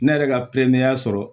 Ne yɛrɛ ka pɛrɛn sɔrɔ